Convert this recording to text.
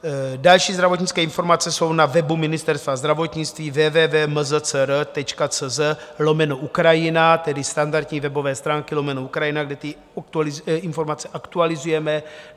Další zdravotnické informace jsou na webu Ministerstva zdravotnictví www.mzcr.cz/ukrajina, tedy standardní webové stránky lomeno Ukrajina, kde ty informace aktualizujeme.